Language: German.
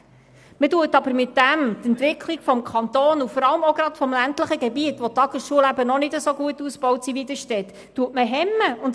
Man hemmt aber damit die Entwicklung im Kanton und gerade in den ländlichen Gebieten, in denen die Tagesschulen noch nicht so gut entwickelt sind.